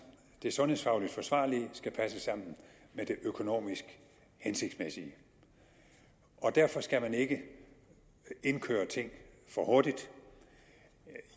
det sundhedsfagligt forsvarlige skal passe sammen med det økonomisk hensigtsmæssige derfor skal man ikke indkøre ting for hurtigt